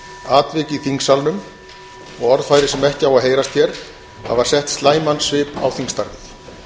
atvik í þingsalnum og orðfæri sem ekki á að heyrast hér hafa sett slæman svip á þingstarfið